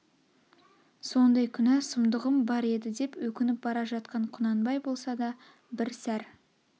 сондай күнә сұмдығым бар еді деп өкініп бара жатқан құнанбай болса да бір сәр